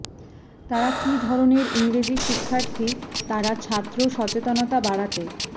তারা কি ধরনের ইংরেজি শিক্ষার্থী তারা ছাত্র সচেতনতা বাড়াতে